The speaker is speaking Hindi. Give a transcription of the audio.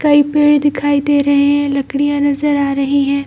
कई पेड़ दिखाई दे रहें हैं लकड़ियाँ नजर आ रही है।